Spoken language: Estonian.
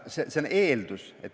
See on eeldus.